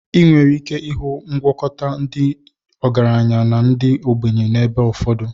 Ị nwere ike ịhụ ngwakọta nke ndị ọgaranya na ndị ogbenye n'ebe ụfọdụ.